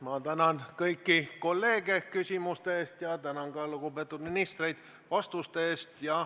Ma tänan kõiki kolleege küsimuste eest ja tänan ka lugupeetud ministreid vastuste eest.